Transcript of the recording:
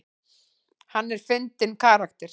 Hann er fyndinn karakter.